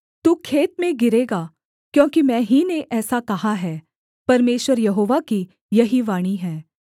तू खेत में गिरेगा क्योंकि मैं ही ने ऐसा कहा है परमेश्वर यहोवा की यही वाणी है